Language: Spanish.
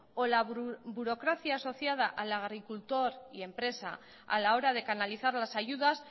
o la burocracia asociada al agricultor y empresa a la hora de canalizar las ayudas